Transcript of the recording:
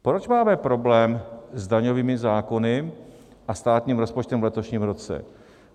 Proč máme problém s daňovými zákony a státním rozpočtem v letošním roce?